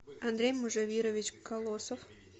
андрей мужавирович колосов